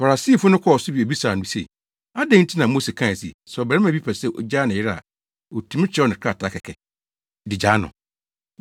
Farisifo no kɔɔ so bisaa no se, “Adɛn nti na Mose kae se, sɛ ɔbarima bi pɛ sɛ ogyaa ne yere a otumi kyerɛw no krataa kɛkɛ, de gyaa no?”